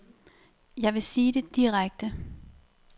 Jeg vil sige det direkte.